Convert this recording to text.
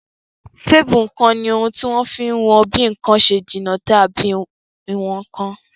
Téèpù ǹkan ni ohun tí wọ́n fi n wọn bí ǹkan ṣe jìnà tó àbí ìwọn nǹkan